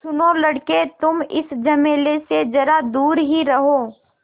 सुनो लड़के तुम इस झमेले से ज़रा दूर ही रहो